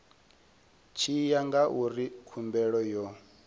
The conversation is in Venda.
tshi ya ngauri khumbelo yo